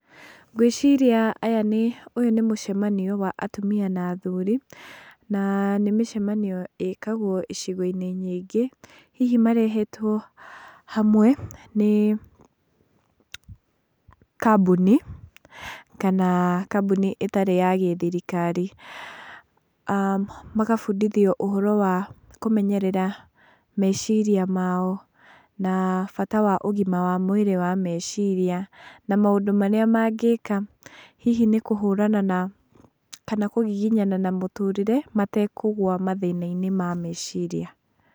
Ngwĩciria aya nĩ, ũyũ nĩ mũcemanio wa atumia na athuri, na nĩ mĩcemanio ĩkagwo icigo-inĩ nyingĩ. Hihi marehetwo hamwe nĩ kambuni, kana kambuni ĩtarĩ ya gĩthirikari, magabundithio ũhoro wa kũmenyerera meciria mao na bata wa ũgima wa mwĩrĩ wa meciria, maũndũ marĩa mangĩka hihi nnĩ kũhũrana na , kana kũgiginyana na mũtũrĩre, matekũgũa mathĩna-inĩ ma meciria.